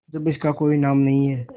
जब इसका कोई नाम नहीं है